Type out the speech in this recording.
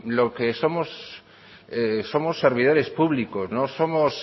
lo que somos somos servidores públicos somos